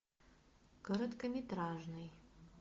короткометражный